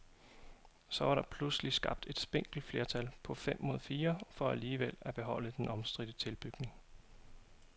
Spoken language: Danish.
Så var der pludselig skabt et spinkelt flertal på fem mod fire for alligevel at beholde den omstridte tilbygning.